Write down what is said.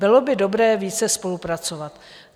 Bylo by dobré více spolupracovat.